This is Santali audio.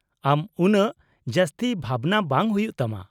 -ᱟᱢ ᱩᱱᱟ.ᱜ ᱡᱟᱥᱛᱤ ᱵᱷᱟᱵᱱᱟ ᱵᱟᱝ ᱦᱩᱭᱩᱜ ᱛᱟᱢᱟ !